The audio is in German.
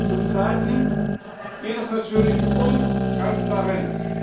Zum Zweiten geht es natürlich um Transparenz.